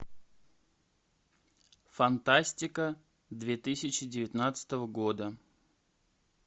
фантастика две тысячи девятнадцатого года